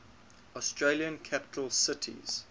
australian capital cities